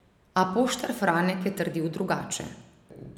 A poštar Franek je trdil drugače.